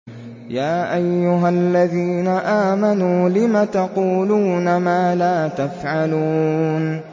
يَا أَيُّهَا الَّذِينَ آمَنُوا لِمَ تَقُولُونَ مَا لَا تَفْعَلُونَ